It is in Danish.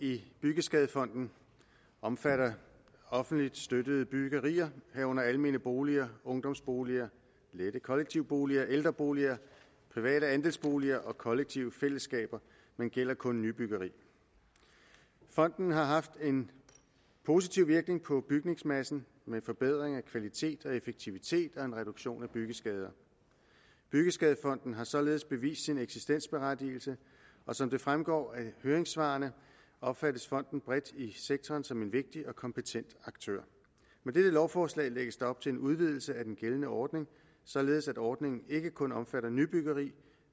i byggeskadefonden omfatter offentligt støttede byggerier herunder almene boliger ungdomsboliger lette kollektive boliger ældreboliger private andelsboliger og kollektive fællesskaber men gælder kun nybyggeri fonden har haft en positiv virkning på bygningsmassen med forbedring af kvalitet og effektivitet og en reduktion af byggeskader byggeskadefonden har således vist sin eksistensberettigelse og som det fremgår af høringssvarene opfattes fonden bredt i sektoren som en vigtig og kompetent aktør med dette lovforslag lægges der op til en udvidelse af den gældende ordning således at ordningen ikke kun omfatter nybyggeri